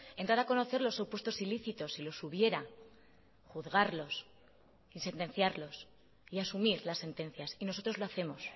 entrar a conocer los supuestos ilícitos si los hubiera juzgarlos y sentenciarlos y asumir las sentencias y nosotros lo hacemos